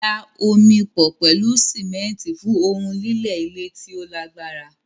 Da omi pọ̀ pẹ̀lú símẹ́ńtì fún ohun lílẹ̀ ile ti o lagbara